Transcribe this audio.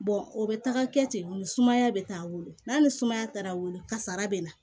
o bɛ taga kɛ ten sumaya bɛ taa a wolo n'a ni sumaya taara wolo kasara bɛ na